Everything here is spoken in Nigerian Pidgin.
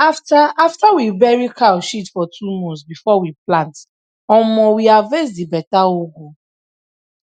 na after after we bury cow shit for two months before we plant omo we harvest di beta ugu